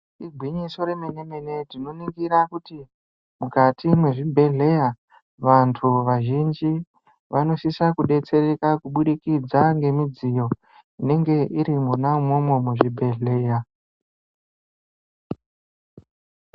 Igwinyiso romene mene tinoringira kuti mukati mezvibhedhera vantu vazhinji vanosisa kudetsereka kuburikidza ngemidziyo inenge iri mona imomo muzvibhedhlera.